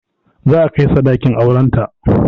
Za a kai sadakin auren ta